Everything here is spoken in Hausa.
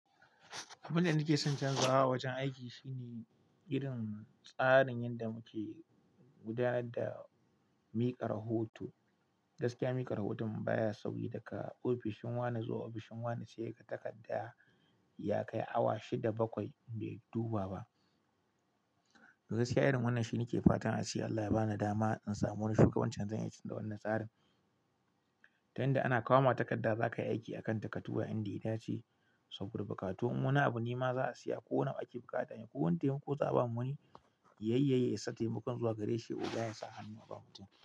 Abin da nake son canzawa a wajen aiki shine irin tsarin yanda muke guda da mika rahoto. Gaskiya, mikar hoton baya sauƙi. Daka ofishin wani zuwa ofishin wani ya dubi takarda ya kai awa shida bakwai bai duba ba. Gaskiya irin wannan shi nake fatan a ce Allah ya bani dama in samu wani shugabancin zan iya canza wannan tsarin. Tunda ana kawo ma takarda za ka yi aiki a kan ta, ka duba inda ita ce. Saboda buƙatu, in wani abu ne ma za a siya ko nawa ake buƙata ne ko wane taimako za a bani. Yayyaƴaye sa taimakon zuwa gare shi oga ya sa hannu a bamu takarda.